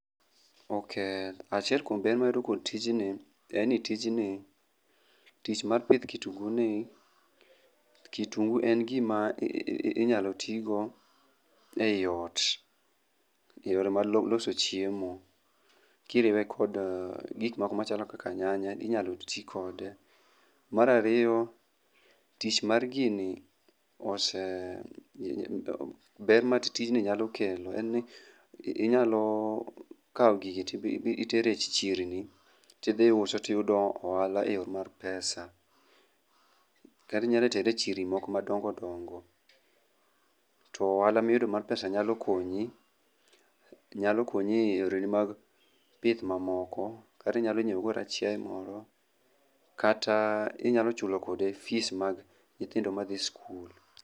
Ok, achiel kuom ber mayudo kuom tijni en ni tijni, tich mar pith kitungu ni ,kitungu en gima inyal tii go eot e yor mar loso chiemo kiriwe kod gik moko machalo kaka nyanya. Mar ariyo tich mar gini oseidho, ber ma tijni nyalo kelo en ni inyalo kaw gigi titere chirni tidhi uso tiyudo ohala. eyo mar pesa kata inyalo tere e chirni madongo dongo to ohala miyudo mar pesa nyalo konyi, nyalo konyi e yore gi mag pith mamoko kata inyalo nyiew go kata chiaye mamoko kata inyalo chulo go kata fees mag nyithindo madhi skul